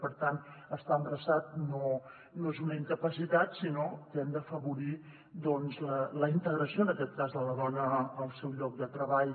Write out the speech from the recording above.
per tant estar embarassat no és una incapacitat sinó que hem d’afavorir la integració en aquest cas de la dona al seu lloc de treball